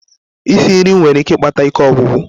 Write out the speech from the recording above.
Isi nri nwere ike ikpata ike ogwugwu.